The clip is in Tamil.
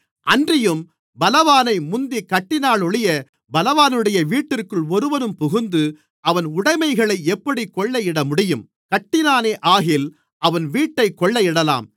அன்றியும் பலவானை முந்திக் கட்டினாலொழிய பலவானுடைய வீட்டிற்குள் ஒருவன் புகுந்து அவன் உடைமைகளை எப்படிக் கொள்ளையிடமுடியும் கட்டினானேயாகில் அவன் வீட்டைக் கொள்ளையிடலாம்